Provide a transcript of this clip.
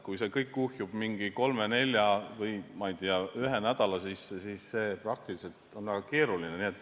Kui see kõik kuhjub mingi kolme, nelja või, ma ei tea, ühe nädala sisse, siis see on praktiliselt väga keeruline.